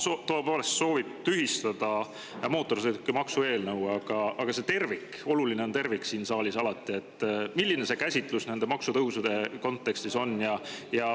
Isamaa tõepoolest soovib tühistada mootorsõidukimaksu, aga see tervik – siin saalis on alati oluline tervik –, milline see tervikkäsitlus nende maksutõusude kontekstis on?